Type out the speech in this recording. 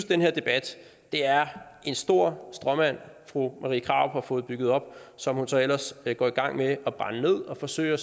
den her debat er en stor stråmand fru marie krarup har fået bygget op som hun så ellers går i gang med at brænde ned og forsøger